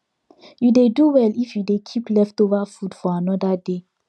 you dey do well if you dey keep leftover food for another day